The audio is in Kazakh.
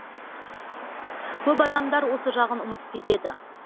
көп адамдар осы жағын ұмытып кетеді